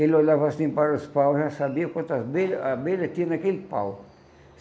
Ele olhava assim para os paus e já sabia quantas abelhas abelha tinha naquele pau.